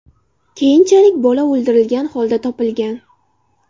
Keyinchalik bola o‘ldirilgan holda topilgan.